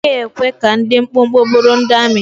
A naghị ekwe ka ndị dị mkpụmkpụ bụrụ ndị amị.